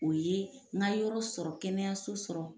O ye n ka yɔrɔ sɔrɔ, kɛnɛyaso sɔrɔ.